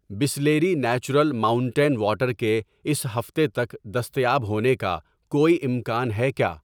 Bisleri natural mountain water کے اس ہفتے تک دستیاب ہونے کا کوئی امکان ہے کیا؟